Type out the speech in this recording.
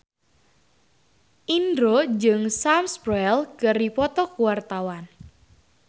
Indro jeung Sam Spruell keur dipoto ku wartawan